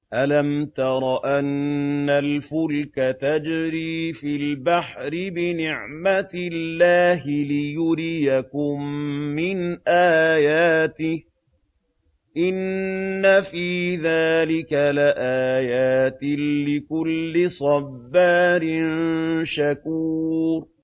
أَلَمْ تَرَ أَنَّ الْفُلْكَ تَجْرِي فِي الْبَحْرِ بِنِعْمَتِ اللَّهِ لِيُرِيَكُم مِّنْ آيَاتِهِ ۚ إِنَّ فِي ذَٰلِكَ لَآيَاتٍ لِّكُلِّ صَبَّارٍ شَكُورٍ